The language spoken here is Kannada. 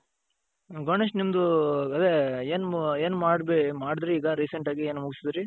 ಗಣೇಶ್ ನಿಮ್ಮದು ಅದೇ ಏನ್ ಏನ್ ಮಾಡುದ್ರಿ ಈಗ recent ಆಗಿ ಏನು ಮುಗ್ಸುದ್ರಿ?